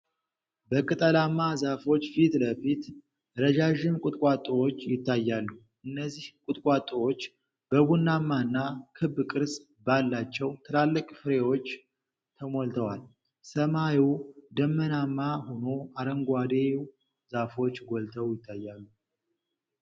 በቅጠላማ ዛፎች ፊት ለፊት ረዣዥም ቁጥቋጦዎች ይታያሉ። እነዚህ ቁጥቋጦዎች በቡናማና ክብ ቅርጽ ባላቸው ትላልቅ ፍሬዎች ተሞልተዋል። ሰማዩ ደመናማ ሆኖ አረንጓዴው ዛፎች ጎልተው ይታያሉ።